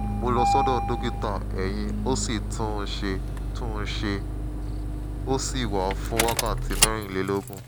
mo lọ sọ́dọ̀ dókítà eyín ó sì tún un ṣe tún un ṣe ó sì wà fún wákàtí mẹ́rìnlélógún